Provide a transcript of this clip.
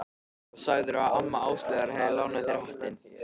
Og sagðirðu að amma hennar Áslaugar hafi lánað þér hattinn?